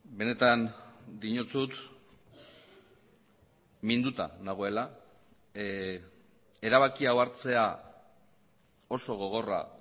benetan diotsut minduta nagoela erabaki hau hartzea oso gogorra